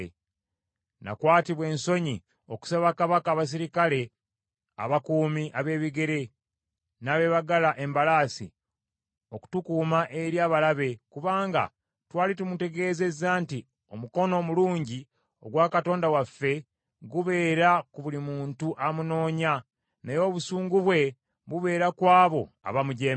Nakwatibwa ensonyi okusaba kabaka abaserikale abakuumi ab’ebigere n’abeebagala embalaasi okutukuuma eri abalabe, kubanga twali tumutegeezeza nti, “Omukono omulungi ogwa Katonda waffe gubeera ku buli muntu amunoonya, naye obusungu bwe bubeera ku abo abamujeemera.”